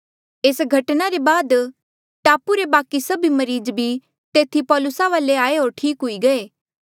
एस घटना ले बाद टापू रे बाकि सभी मरीज भी तेथी पौलुसा वाले आये होर ठीक हुई गये